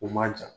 U ma jan